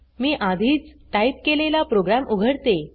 मी आधीच टाइप केलेला प्रोग्राम उघडते